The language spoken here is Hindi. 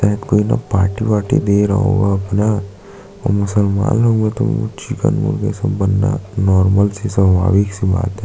शायद कोई ना पार्टी वार्टी दे रहा होगा अपना मुसलमान लोग वो तो चिकन मुर्गा ये सब बनना नार्मल से स्वाभाविक सी बात है।